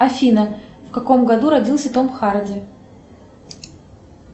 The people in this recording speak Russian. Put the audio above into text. афина в каком году родился том харди